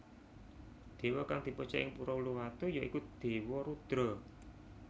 Dewa kang dipuja ing Pura Uluwatu ya iku Dewa Rudra